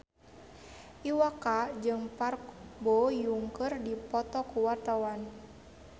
Iwa K jeung Park Bo Yung keur dipoto ku wartawan